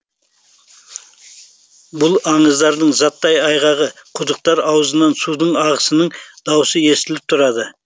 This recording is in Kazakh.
бұл аңыздардың заттай айғағы құдықтар аузынан судың ағысының даусы естіліп тұрады